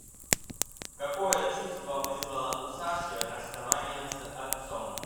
какое чувство вызвало у саши расставание с отцом